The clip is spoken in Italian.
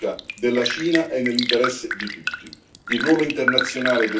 Ma una riunificazione pacifica della Cina è nell'interesse di tutti.